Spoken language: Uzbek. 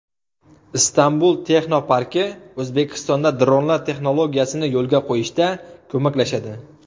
Istanbul texnoparki O‘zbekistonda dronlar texnologiyasini yo‘lga qo‘yishda ko‘maklashadi.